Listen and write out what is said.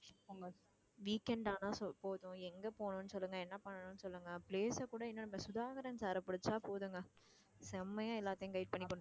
weekend ஆனா so போதும் எங்க போகணும்னு சொல்லுங்க என்ன பண்ணணும்னு சொல்லுங்க place அ கூட இன்னும் நம்ம சுதாகரன் sir அ புடிச்சா போதுங்க செம்மையா எல்லாத்தையும் guide பண்ணி கொண்டு